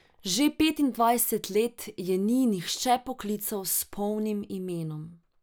Že petindvajset let je ni nihče poklical s polnim imenom.